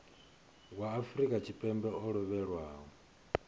wa afrika tshipembe o lovhelaho